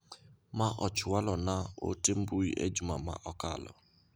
Ma ochwalo na ote mbui e juma ma okalo.